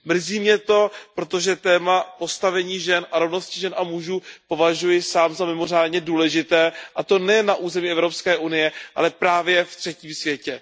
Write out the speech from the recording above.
Mrzí mě to, protože téma postavení žen a rovnosti žen a mužů považuji sám za mimořádně důležité, a to nejen na území Evropské unie, ale právě ve třetím světě.